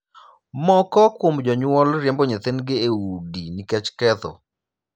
Moko kuom jonyuol riembo nyithindgi e udi nikech ketho.